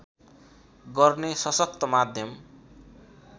गर्ने सशक्त माध्यम